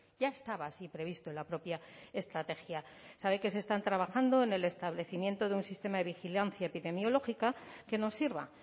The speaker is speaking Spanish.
ya estaba así previsto en la propia estrategia sabe que se están trabajando en el establecimiento de un sistema de vigilancia epidemiológica que nos sirva